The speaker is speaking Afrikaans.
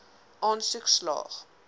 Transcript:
aansoek slaag